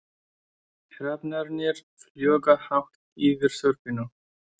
Hrafnarnir fljúga hátt yfir þorpinu.